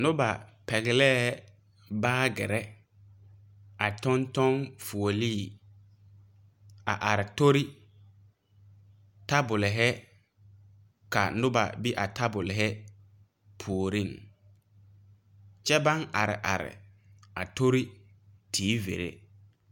Noba pɛglɛɛ baagyirre a tɔŋ tɔŋ tɔŋ fuolee a are tori tabolehi ka noba a be a tabolhi puoriŋ kyɛ baŋ are are a tori teevirre.